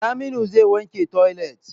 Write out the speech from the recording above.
Saminu zai wanke toilet.